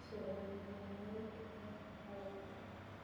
soromaik eng haraka